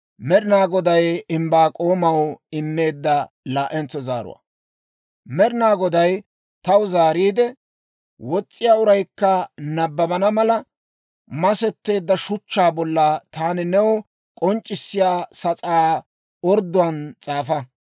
Med'ina Goday taw zaariide, «Wos's'iyaa uraykka nabbabana mala, masetteedda shuchchaa bolla taani new k'onc'c'issiyaa sas'aa ordduwaan s'aafa.